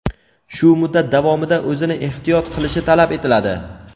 shu muddat davomida o‘zini ehtiyot qilishi talab etiladi.